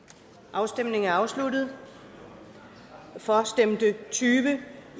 afstemningen er afsluttet for stemte tyve